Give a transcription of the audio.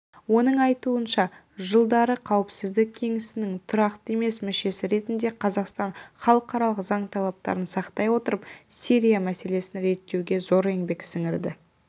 оның айтуынша жылдары қауіпсіздік кеңесінің тұрақты емес мүшесі ретінде қазақстан халықаралық заң талаптарын сақтай отырып сирия мәселесін реттеуде зор еңбек сіңірді